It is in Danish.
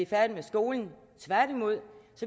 færdige med skolen